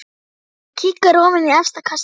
Hann kíkir ofan í efsta kassann.